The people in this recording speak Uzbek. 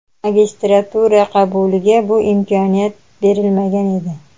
Magistratura qabuliga bu imkoniyat berilmagan edi.